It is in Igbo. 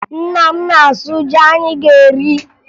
Nna m na-asụ ji anyị ga-eri